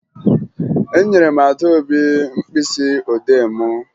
Enyere m Adaobi mkpịsịodee m